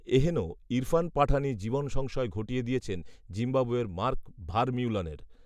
এহেন ইরফান পাঠানই জীবনসংশয় ঘটিয়ে দিয়েছেন জিম্বাবোয়ের মার্ক ভারমিউলনের